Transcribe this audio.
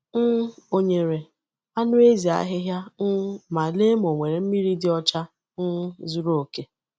um Ọ nyere anụ ezi ahịhịa um ma lee ma o nwere mmiri dị ọcha um zuru oke.